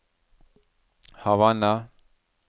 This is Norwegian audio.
Havanna